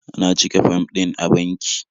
Na cike fom din a banki.